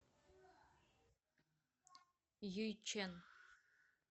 юйчэн